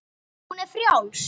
Hún er frjáls.